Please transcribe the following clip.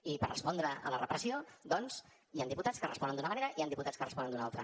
i per respondre a la repressió doncs hi ha diputats que responen d’una manera i hi ha diputats que responen d’una altra